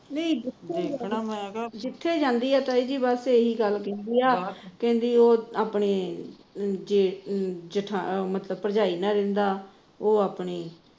ਨਹੀ ਜਿੱਥੇ ਜਾਂਦੀ ਹੈ ਤਾਈ ਜੀ ਬਸ ਇਹੀ ਗੱਲ ਕਹਿੰਦੀ ਆ ਕਹਿੰਦੀ ਉਹ ਆਪਣੀ ਜੇਠ ਮਤਲਬ ਭਰਜਾਈ ਨਾਲ ਰਹਿੰਦਾ ਉਹ ਆਪਣੀ